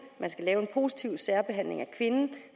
der skal laves positiv særbehandling af kvinden